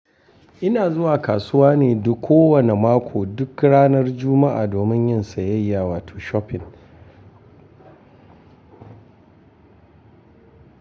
Ina zuwa kasuwa ne duk kowane mako duk ranar Juma'a domin yin sayayya wato shopping.